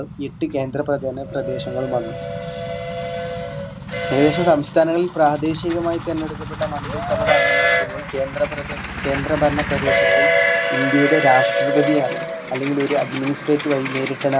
എട്ടു കേന്ദ്രപ്രധേന പ്രദേശങ്ങളും വന്നു ഏകദേശം സംസ്ഥാനങ്ങളിൽ പ്രാദേശികമായി തെരെഞ്ഞെടുക്കപ്പെട്ട മന്തിസഭ ഭരണം നടത്തുമ്പോൾ കേന്ദ്രപ്രദേ കേന്ദ്രഭരണ പ്രദേശങ്ങളിൽ ഇന്ത്യയുടെ രാഷ്‌ട്രപതി ആണ് അല്ലെങ്കിൽ ഒരു administrate വഴി നേരിട്ടാണ്